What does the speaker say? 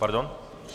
Pardon?